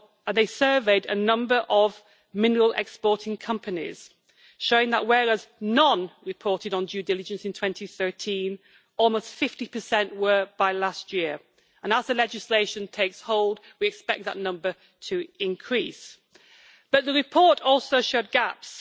They surveyed a number of mineral exporting companies, showing that whereas none reported on due diligence in 2013, almost 50 were reporting by last year, and as the legislation takes hold we expect that number to increase. But the report also showed gaps.